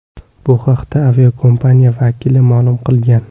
Bu haqda aviakompaniya vakili ma’lum qilgan.